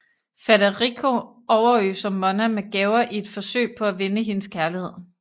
Federigo overøser Monna med gaver i et forsøg på at vinde hendes kærlighed